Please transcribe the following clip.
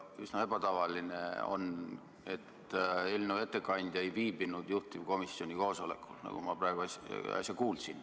On üsna ebatavaline, et eelnõu ettekandja ei viibinud juhtivkomisjoni koosolekul, nagu ma äsja kuulsin.